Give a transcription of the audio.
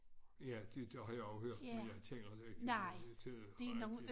Ja det det har jeg også hørt men jeg taler ikke rigtig til og det